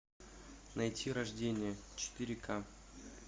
найти рождение четыре ка